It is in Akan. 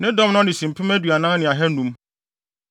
Ne dɔm ano si mpem aduanan ne ahannum (40,500).